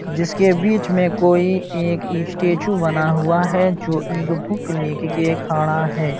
जिसके बीच में कोई एक स्टैचू बना हुआ है जो इक बुक लेक के खड़ा है।